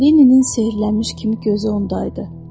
Lenninin sehirlişmiş kimi gözü ondaydı.